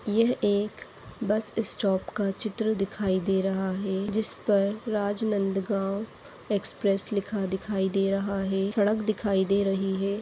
यह एक bus stop का चित्र दिखाई दे रहा है जिस पर राजनन्द गाँव एक्स्प्रेस लिखा दिखाई दे रहा है सड़क दिखाई दे रही है।